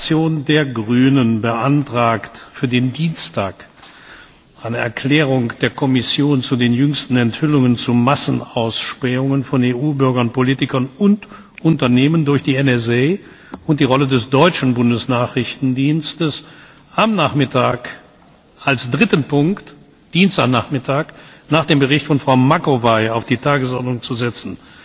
Dienstag Die Fraktion der Grünen beantragt für den Dienstag, eine Erklärung der Kommission zu den jüngsten Enthüllungen zu Massenausspähungen von EU Bürgern, —Politikern und —Unternehmen durch die NSA und die Rolle des deutschen Bundesnachrichtendienstes am Dienstagnachmittag als dritten Punkt nach dem Bericht von Frau Macovei auf die Tagesordnung zu setzen,